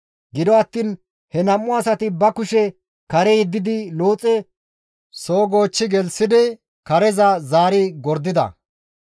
Gido attiin he nam7u asati ba kushe kare yeddidi Looxe soo goochchi gelththidi kareza zaari gordida.